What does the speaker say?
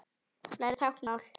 Læra táknmál